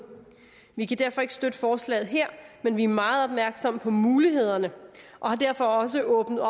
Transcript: vi kan derfor ikke støtte forslaget her men vi er meget opmærksomme på mulighederne og har derfor også åbnet